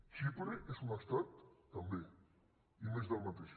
xipre és un estat també i més del mateix